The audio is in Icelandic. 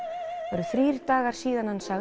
eru þrír dagar síðan hann sagði